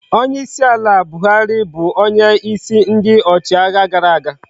Onye isi ala bu ala buhari onye isi ndi ochi agha gara aga